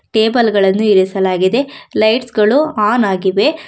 Table ಗಳನ್ನು ಇರಿಸಲಾಗಿದೆ lights ಗಳು ಆನ್ ಆಗಿವೆ.